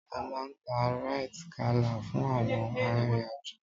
A máa ń ta Rite Gala fún àwọn arìnrìn-àjò.